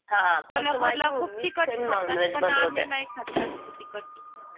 कोल्हापूरला खूप तिखट खातात पण आम्ही नाही खात जास्त तिखट